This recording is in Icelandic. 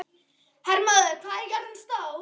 Hermóður, hvað er jörðin stór?